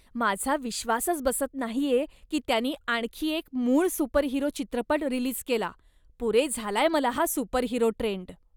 माझा विश्वासच बसत नाहीये की त्यांनी आणखी एक मूळ सुपरहिरो चित्रपट रिलीज केला. पुरे झालाय मला हा सुपरहिरो ट्रेंड.